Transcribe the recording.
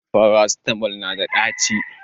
farasitamol nada daci